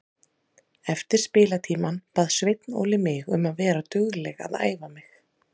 Eftir spilatímann bað Sveinn Óli mig um að vera dugleg að æfa mig.